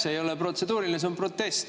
See ei ole protseduuriline, see on protest.